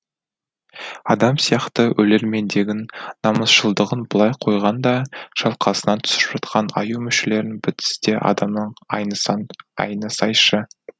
адам сияқты өлермендегін намысшылдығын былай қойғанда шалқасынан түсіп жатқан аю мүшелерінің бітісі де адамнан айнысаң айнысайшы